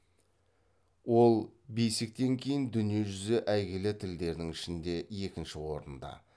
ол бейсиктен кейін дүние жүзі әйгілі тілдердің ішінде екінші орында